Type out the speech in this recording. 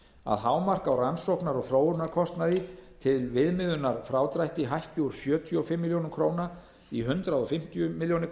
að hámark á rannsóknar og þróunarkostnaði til viðmiðunar frádrætti hækki úr sjötíu og fimm milljónir króna í hundrað fimmtíu milljónir